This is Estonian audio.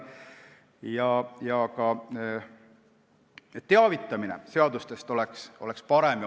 Ka seadustest ning muudatustest teavitamine peaks olema parem.